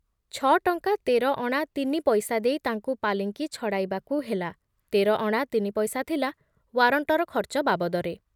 ଛ ଟଙ୍କା ତେର ଅଣା ତିନି ପଇସା ଦେଇ ତାଙ୍କୁ ପାଲିଙ୍କି ଛଡ଼ାଇବାକୁ ହେଲା, ତେରଅଣା ତିନି ପଇସା ଥିଲା ୱାରଣ୍ଟର ଖର୍ଚ୍ଚ ବାବଦରେ ।